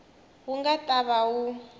wu nga ta va wu